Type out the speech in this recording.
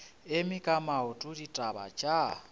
eme ka maoto ditaba tša